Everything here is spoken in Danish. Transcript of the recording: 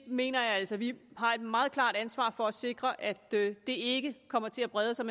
mener altså vi har et meget klart ansvar for at sikre at det ikke kommer til at brede sig